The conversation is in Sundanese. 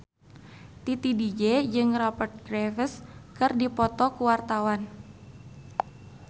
Titi DJ jeung Rupert Graves keur dipoto ku wartawan